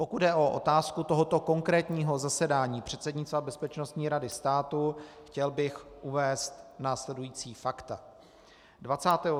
Pokud jde o otázku tohoto konkrétního zasedání předsednictva Bezpečnostní rady státu, chtěl bych uvést následující fakta.